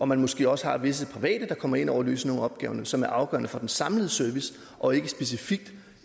man måske også har visse private der kommer ind over og løser nogle af opgaverne som er afgørende for den samlede service og ikke specifikt